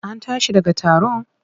An tashi daga taron?